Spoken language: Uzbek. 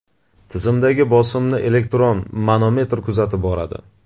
Tizimdagi bosimni elektron manometr kuzatib boradi.